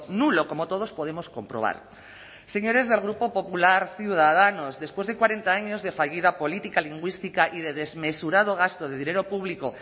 nulo como todos podemos comprobar señores del grupo popular ciudadanos después de cuarenta años de fallida política lingüística y de desmesurado gasto de dinero público